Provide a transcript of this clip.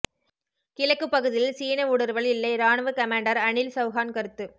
கிழக்கு பகுதியில் சீன ஊடுருவல் இல்லை ராணுவ கமாண்டர் அனில் சவுஹான் கருத்து